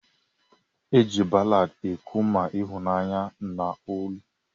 Eji ballad ekwu ma ihunanya na uri.